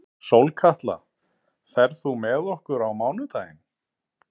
Sólkatla, ferð þú með okkur á mánudaginn?